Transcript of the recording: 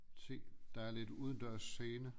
Se der er lidt udendørs scene